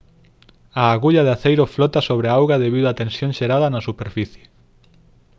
a agulla de aceiro flota sobre a auga debido a tensión xerada na superficie